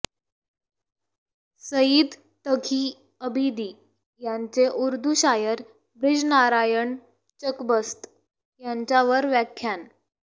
सईद तघी अबिदी यांचे उर्दू शायर ब्रिजनारायण चकबस्त यांच्यावर व्याख्यान